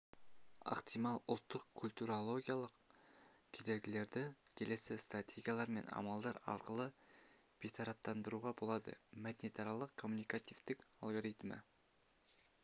ықтимал ұлттық-культурологиялық кедергілерді келесі стратегиялар мен амалдар арқылы бейтараптандыруға болады мәдениетаралық коммуникативтілік алгоритмі